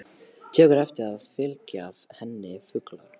Tekur eftir að það fylgja henni fuglar.